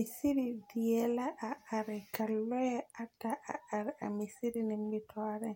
Misiri die la are ka lͻԑ ata a are a misiri nimitͻͻreŋ,